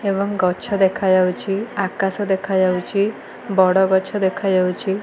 ଏବଂ ଗଛ ଦେଖାଯାଉଚି ଆକାଶ ଦେଖାଯାଉଚି ବଡ଼ ଗଛ ଦେଖାଯାଉଚି ।